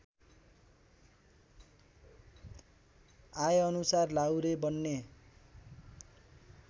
आएअनुसार लाहुरे बन्ने